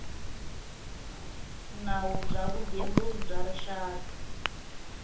nawu bya vugembuli bya rixaka